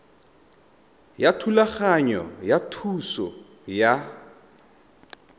ya thulaganyo ya thuso ya